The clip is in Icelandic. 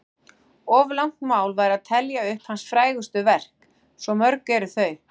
Of langt mál væri að telja upp hans frægustu verk, svo mörg eru þau.